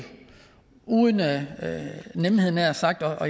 uden lethed at